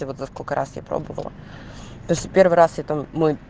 и вот за сколько раз я пробовала то есть в первый раз я там мой